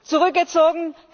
Zurückgezogen?